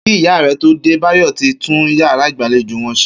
Kí ìyá rè̩ tó dé, Báyò̩ ti tún yàrá ìgbàlejò wo̩n s̩e